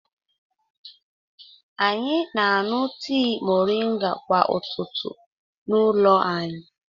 Anyị na-aṅụ tii mọrịnga kwa ụtụtụ n'ụlọ anyi.